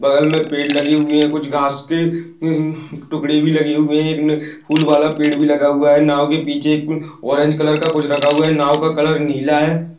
बगल मे पेड़ लगे हुए है कुछ घास की हम्म टुकड़े भी लगे हुए है एक फूलवाला पेड़ भी लगा हुआ है नाव के पीछे ऑरेंज कलरका कुछ रखा हुआ है नाव का कलर नीला है।